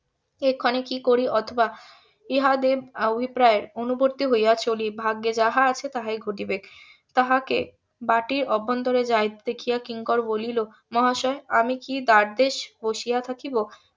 এক্ষণে কি করি অথবা ইহাদের অভিপ্রায় অনুবর্তী হইয়া চলি ভাগ্যে যাহা আছে তাহাই ঘটিবে তাহাকে বাটির অভ্যন্তরে যাইতে দেখিয়া কিঙ্কর বলিল মহাশয় আমি কি দ্বারদেশে বসিয়া থাকিব?